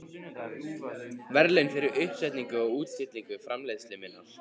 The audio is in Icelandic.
verðlaun fyrir uppsetningu og útstillingu framleiðslu minnar.